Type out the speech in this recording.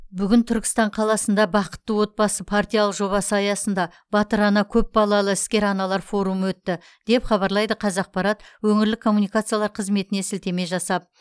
бүгін түркістан қаласында бақытты отбасы партиялық жобасы аясында батыр ана көпбалалы іскер аналар форумы өтті деп хабарлайды қазақпарат өңірлік коммуникациялар қызметіне сілтеме жасап